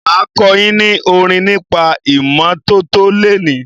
Máa kọ́ yín ní orin nípa ìmọ́tọ́tọ́ lení.